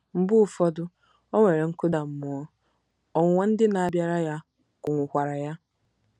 Mgbe ụfọdụ, o nwere nkụda mmụọ, ọnwụnwa ndị na-abịara ya kụnwụkwara ya.